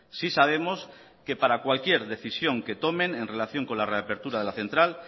sí sabemos que para cualquier decisión que tomen en relación con la reapertura de la central